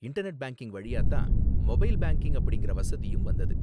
Internet banking வழியா தான் mobile banking அப்படிங்கிற வசதியும் வந்தது.